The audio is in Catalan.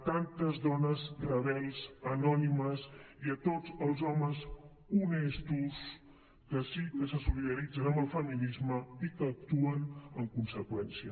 tantes dones rebels anònimes i tots els homes honestos que sí que se solidaritzen amb el feminisme i que actuen en conseqüència